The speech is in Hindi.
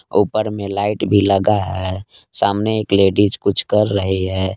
ऊपर में लाइट भी लगा है सामने एक लेडीज कुछ कर रही है।